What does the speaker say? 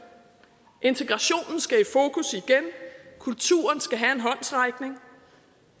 integrationen skal i fokus igen kulturen skal have en håndsrækning